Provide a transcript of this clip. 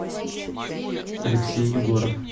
алексей егоров